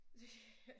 Det kan